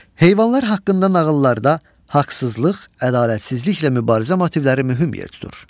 Heyvanlar haqqında nağıllarda haqsızlıq, ədalətsizliklə mübarizə motivləri mühim yer tutur.